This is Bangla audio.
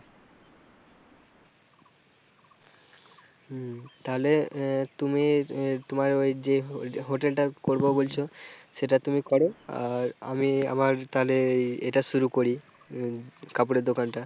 হম তালে আহ তুমি আহ তোমার ওই যে hotel টা করবা বলছ সেটা তুমি করো আর আমি আমার তালে এটা শুরু করি কাপড়ের দোকানটা।